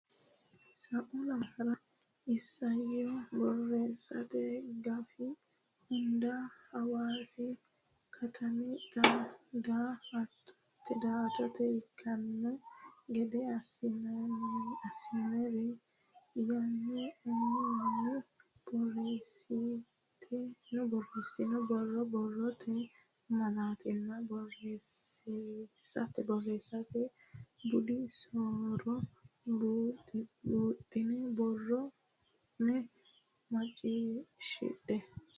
Sa u lamalara isayyo borreessate gafi hunda Hawaasi katami daa attote ikkanno gede assinori yaanno uminni borreessitini borro borrote malaattanna borreessate budi so ro buuxxine borro ne muccisidhe.